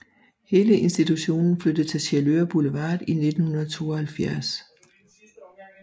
Hele institutionen flyttede til Sjælør Boulevard i 1972